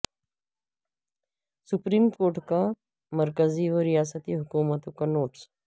supreme court کا مرکزی و ریاستی حکومتوں کو نوٹس